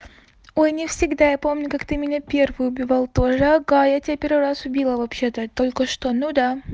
ой не всегда я помню как ты меня первый убивал тоже ага я тебя первый раз убила вообще-то только что ну да